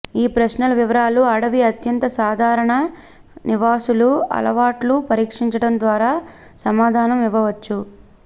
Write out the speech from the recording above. ఈ ప్రశ్నలు వివరాలు అడవి అత్యంత సాధారణ నివాసులు అలవాట్లు పరీక్షించటం ద్వారా సమాధానం ఇవ్వవచ్చు